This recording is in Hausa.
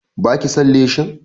Ba ki son leshin?